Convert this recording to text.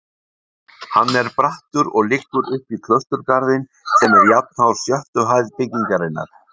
Hann er brattur og liggur uppí klausturgarðinn sem er jafnhár sjöttu hæð byggingarinnar.